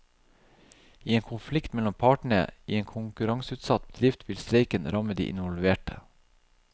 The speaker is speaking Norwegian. I en konflikt mellom partene i en konkurraneutsatt bedrift vil streiken ramme de involverte.